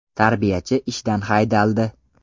Tarbiyachi ishdan haydaldi.